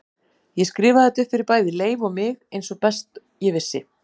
Ég skrifaði þetta upp fyrir bæði Leif og mig eins og best ég vissi.